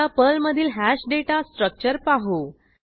आता पर्लमधील hash data structure पाहू